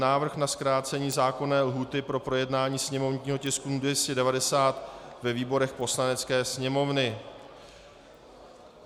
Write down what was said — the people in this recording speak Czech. Návrh na zkrácení zákonné lhůty pro projednání sněmovního tisku 290 ve výborech Poslanecké sněmovny